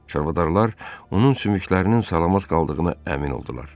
Çarvadarlar onun sümüklərinin salamat qaldığına əmin oldular.